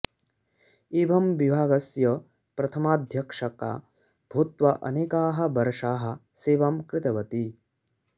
एवं विभागस्य प्रथमाध्यक्षका भूत्वा अनेकाः वर्षाः सेवां कृतवति